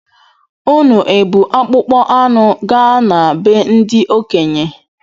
Unu ebu akpụkpọ anụ gaa na be ndi okenye?